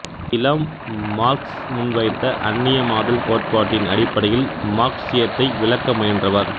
இளம் மார்க்ஸ் முன்வைத்த அன்னியமாதல் கோட்பாட்டின் அடிப்படையில் மார்க்சியத்தை விளக்க முயன்றவர்